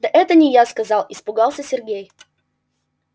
да это не я сказал испугался сергей